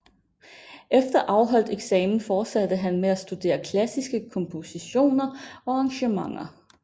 Efter afholdt eksamen fortsatte han med at studere klassiske kompositioner og arrangementer